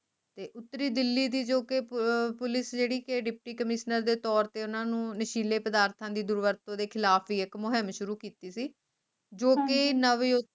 ਤੇ ਉੱਤਰੀ ਦਿੱਲੀ ਜੋ ਕਿ ਅਹ Police ਜਿਹੜੀ ਕੇ Deputy ਕਮਿਸ਼ਨਰਾਂ ਦੇ ਤੌਰ ਤੇ ਓਹਨਾ ਨੂੰ ਨਸ਼ੀਲੇ ਪਦਾਰਥਾਂ ਦੀ ਦੁਰਵਰਤੋਂ ਦੇ ਖਿਲਾਫ ਵੀ ਇਕ ਮੁਹਿੰਮ ਸ਼ੁਰੂ ਕੀਤੀ ਸੀ ਜੋ ਕਿ ਨਵ